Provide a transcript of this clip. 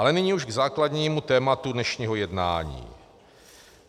Ale nyní už k základnímu tématu dnešního jednání.